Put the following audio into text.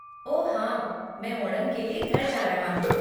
ओह हाँ, मैं ओणम के लिए घर जा रहा हूँ।